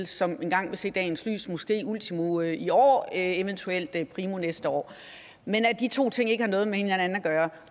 som engang vil se dagens lys måske ultimo i år eventuelt primo næste år men de to ting har ikke noget med hinanden at gøre